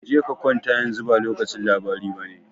Je ka kwanta, yanzu ba lokacin labari bane.